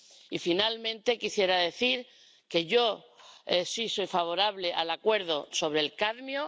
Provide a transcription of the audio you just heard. Y, finalmente, quisiera decir que yo sí soy favorable al acuerdo sobre el cadmio.